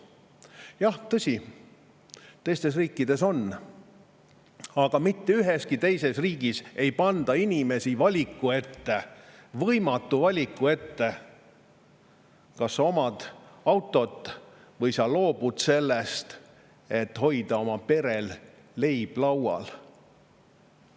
Jah, tõsi, teistes riikides on, aga mitte üheski teises riigis ei panda inimesi võimatu valiku ette, kas sa omad autot või sa loobud sellest, et hoida oma perel leib laual.